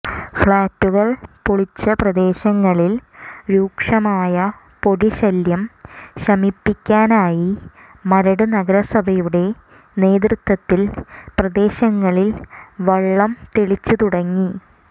ഫ്ലാറ്റുകൾ പൊളിച്ച പ്രദേശങ്ങളിൽ രൂക്ഷമായ പൊടിശല്യം ശമിപ്പിക്കാനായി മരട് നഗരസഭയുടെ നേതൃത്വത്തിൽ പ്രദേശങ്ങളിൽ വെള്ളം തളിച്ചുതുടങ്ങി